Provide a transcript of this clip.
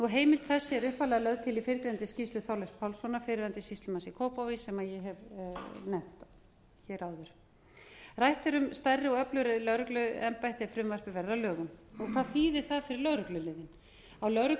heimild þessi er upphaflega lögð til í fyrrgreindri skýrslu þorleifs pálssonar fyrrverandi sýslumanns í kópavogi sem ég hef nefnt hér áður rætt er um stærri og öflugri lögregluembætti ef frumvarpið verður að lögum hvað þýðir það fyrir lögregluliðin á